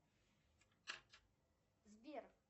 сбер